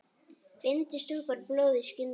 Bindi stoppar blóð í skyndi.